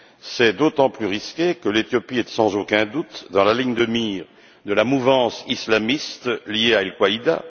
C'est d'autant plus risqué que l'Éthiopie est, sans aucun doute, dans la ligne de mire de la mouvance islamiste liée à Al Qaïda.